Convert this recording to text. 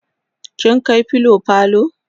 kin kai filo falo?